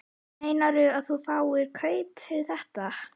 Meinarðu að þú fáir kaup fyrir þetta?